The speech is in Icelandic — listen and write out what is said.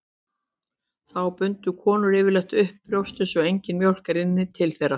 Þá bundu konur yfirleitt upp brjóstin svo engin mjólk rynni til þeirra.